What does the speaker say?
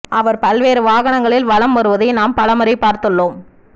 அவர் பல்வேறு வாகனங்களில் வலம் வருவதை நாம் பல முறை பார்த்துள்ளோம்